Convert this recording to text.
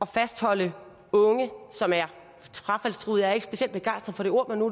fastholde unge som er frafaldstruede jeg er ikke specielt begejstret for det ord men nu